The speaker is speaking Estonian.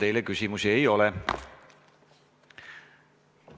Teile küsimusi ei ole.